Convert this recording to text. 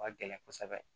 Ka gɛlɛn kosɛbɛ